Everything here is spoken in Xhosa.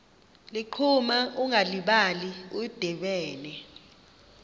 ligquma ungalibali udibene